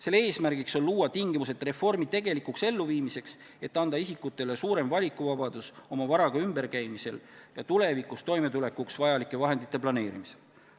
Selle eesmärgiks on luua tingimused reformi tegelikuks elluviimiseks, et anda isikutele suurem valikuvabadus oma varaga ümberkäimisel ja tulevikus toimetulekuks vajalike vahendite planeerimisel.